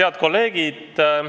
Head kolleegid!